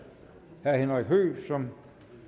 herre henrik høegh som